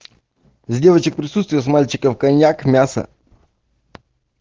с девочек присутствие с мальчиком коньяк мясо